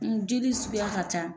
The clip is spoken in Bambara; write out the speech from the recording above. ƐnJeli suguya ka ca